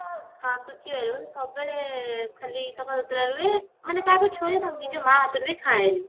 ହଁ ସବୁବେଳେ ଖାଲି ସଫା ସୁତୁରା ରୁହେ ମାନେ କାହାକୁ ଛୁଏନି ନିଜ ମା ହାତରୁ ବି ଖାଏନି